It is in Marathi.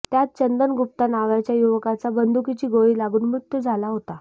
त्यात चंदन गुप्ता नावाच्या युवकाचा बंदुकीची गोळी लागून मृत्यू झाला होता